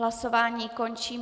Hlasování končím.